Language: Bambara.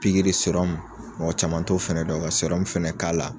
Pikiri mɔgɔ caman t'o fana dɔn ka fɛnɛ k'a la